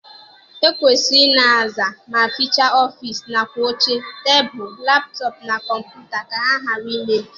E kwesịrị ị na-aza ma fichaa ọfịịsi nakwa oche, tebulu, laptọp na kọmputa ka ha ghara imebi.